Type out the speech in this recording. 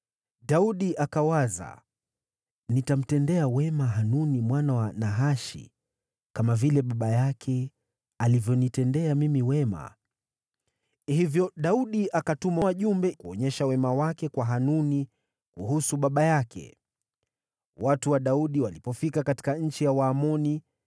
Daudi akawaza, “Nitamtendea wema Hanuni mwana wa Nahashi, kama vile baba yake alivyonitendea mimi wema.” Hivyo Daudi akatuma wajumbe kuonyesha wema wake kwa Hanuni kuhusu baba yake. Watu wa Daudi walipofika katika nchi ya Waamoni,